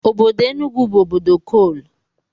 Obodo Enugu bụ obodo kol